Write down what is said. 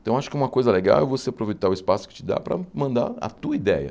Então acho que uma coisa legal é você aproveitar o espaço que te dá para mandar a tua ideia.